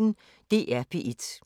DR P1